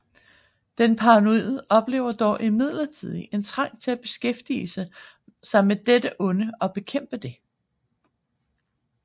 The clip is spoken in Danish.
Den paranoide oplever dog imidlertid en trang til at beskæftige sig med dette onde og bekæmpe det